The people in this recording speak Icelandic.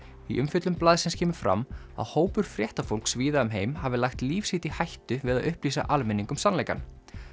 í umfjöllun blaðsins kemur fram að hópur fréttafólks víða um heim hafi lagt líf sitt í hættu við að upplýsa almenning um sannleikann